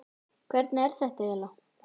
Hvernig er þetta eiginlega?